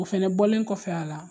O fɛnɛ bɔlen kɔfɛ a la.